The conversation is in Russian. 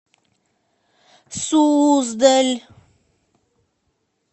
суздаль